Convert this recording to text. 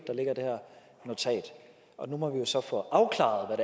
der ligger det her notat nu må vi jo så få afklaret hvad